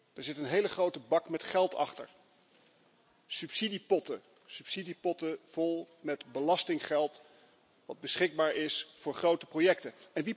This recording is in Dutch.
Daar zit een hele grote bak met geld achter, subsidiepotten. Subsidiepotten vol met belastinggeld dat beschikbaar is voor grote projecten.